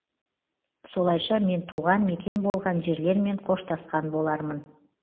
солайша мен туған мекен болған жерлермен қоштасқан болармын